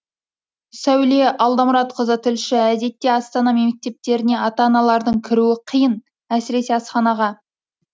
сәуле алдамұратқызы тілші әдетте астана мектептеріне ата аналардың кіруі қиын әсіресе асханаға